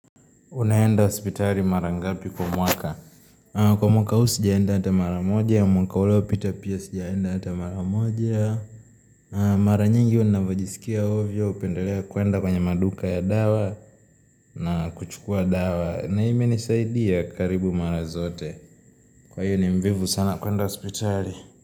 Unaenda hospitali mara ngapi kwa mwaka? Kwa mwaka huu sijaenda hata mara moja, mwaka uliopita pia sijaenda hata mara moja na Mara nyingi huwa ninavyojisikia ovyo hupendelea kwenda kwenye maduka ya dawa na kuchukua dawa na imenisaidia karibu mara zote Kwa hiyo ni mvivu sana kwenda hospitali.